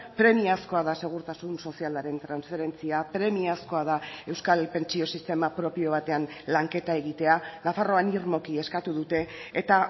premiazkoa da segurtasun sozialaren transferentzia premiazkoa da euskal pentsio sistema propio batean lanketa egitea nafarroan irmoki eskatu dute eta